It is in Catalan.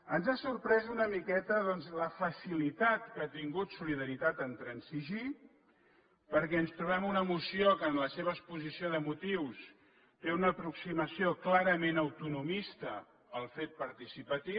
ens ha sorprès una miqueta doncs la facilitat que ha tingut solidaritat a transigir perquè ens trobem una moció que en la seva exposició de motius té una aproximació clarament autonomista al fet participatiu